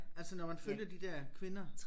Altså når man følger de der kvinder